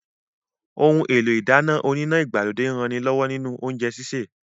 Ohun èlò ìdáná oníná ìgbàlódé ń ranilọ́wọ́ nínú oúnjẹ sísè